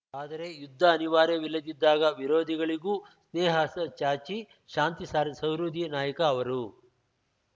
ಆದರೆ ಯುದ್ಧ ಅನಿವಾರ್ಯವಿಲ್ಲದಿದ್ದಾಗ ವಿರೋಧಿಗಳಿಗೂ ಸ್ನೇಹಹಸ್ತ ಚಾಚಿ ಶಾಂತಿ ಸಾರಿದ ಸಹೃದಯಿ ನಾಯಕ ಅವರು